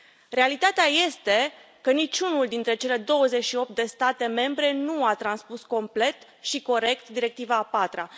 Realitatea este că niciunul dintre cele 28 de state membre nu a transpus complet și corect directiva a patra.